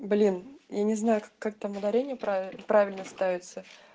блин я не знаю как там ударение правильно ставится